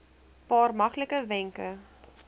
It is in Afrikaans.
paar maklike wenke